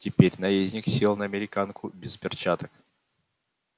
теперь наездник сел на американку без перчаток